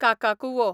काकाकुवो